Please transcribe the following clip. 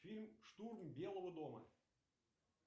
фильм штурм белого дома